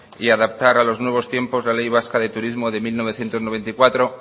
y adaptar a los nuevos tiempos la ley vasca de turismo de mil novecientos noventa y cuatro